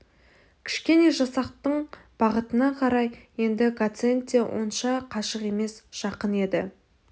кішкене жасақтың бақытына қарай енді гациенд те онша қашық емес жақын еді